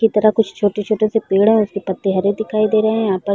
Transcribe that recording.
की तरफ कुछ छोटे - छोटे से पेड़ है उसके पत्ते हरे दिखाई दे रहे है यहाँ पर --